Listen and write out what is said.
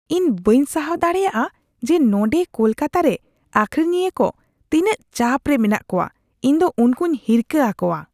ᱤᱧ ᱵᱟᱹᱧ ᱥᱟᱦᱟᱣ ᱫᱟᱲᱮᱭᱟᱜᱼᱟ ᱡᱮ ᱱᱚᱸᱰᱮ ᱠᱳᱞᱠᱟᱛᱟᱨᱮ ᱟᱹᱠᱷᱤᱨᱤᱧᱤᱭᱟᱹ ᱠᱚ ᱛᱤᱱᱟᱹ ᱪᱟᱯ ᱨᱮ ᱢᱮᱱᱟᱜ ᱠᱚᱣᱟ ᱾ ᱤᱧᱫᱚ ᱩᱱᱠᱩᱧ ᱦᱤᱨᱠᱟᱹ ᱟᱠᱚᱣᱟ ᱾